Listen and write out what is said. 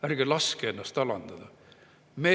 Ärge laske ennast alandada!